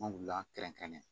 An wulila kɛrɛnkɛrɛn